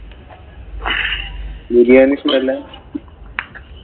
ബിരിയാണി ഇഷ്ടമല്ല.